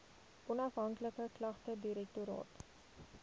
onafhanklike klagtedirektoraat